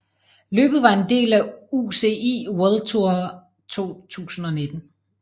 Løbet var en del af UCI World Tour 2019